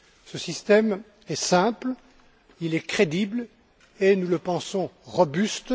Ce système est simple, il est crédible et nous le pensons robuste.